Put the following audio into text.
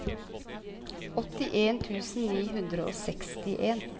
åttien tusen ni hundre og sekstien